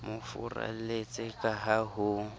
mo furalletse ka ha ho